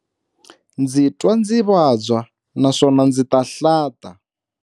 Ndzi twa ndzi vabya naswona ndzi ta hlanta.